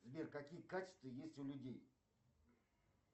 сбер какие качества есть у людей